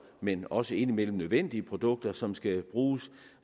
men også indimellem nødvendige produkter som skal bruges